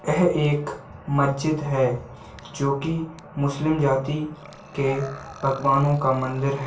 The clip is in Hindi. यह एक मस्जिद है जोकि मुस्लिम जाति के भगवानों का मंदिर हैं।